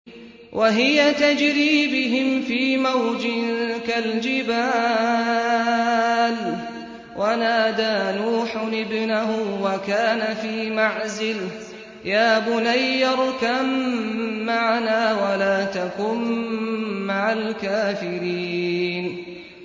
وَهِيَ تَجْرِي بِهِمْ فِي مَوْجٍ كَالْجِبَالِ وَنَادَىٰ نُوحٌ ابْنَهُ وَكَانَ فِي مَعْزِلٍ يَا بُنَيَّ ارْكَب مَّعَنَا وَلَا تَكُن مَّعَ الْكَافِرِينَ